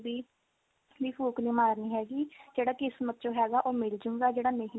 ਵੀ ਫੂਕ ਨਹੀਂ ਮਾਰਨੀ ਹੈਗੀ ਜਿਹੜਾ ਕਿਸਮਤ ਚ ਹੈਗਾ ਉਹ ਮਿਲਜੁਗਾ ਜਿਹੜਾ ਨਹੀਂ